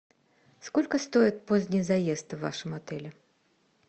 сколько стоит поздний заезд в вашем отеле